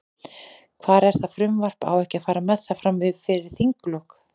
Hvar er það frumvarp, á ekki að fara með það, fram fyrir þinglok?